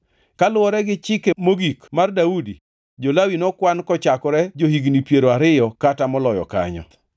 Kaluwore gi chike mogik mar Daudi, jo-Lawi nokwan kochakore jo-higni piero ariyo kata moloyo kanyo.